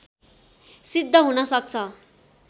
सिद्ध हुन सक्छ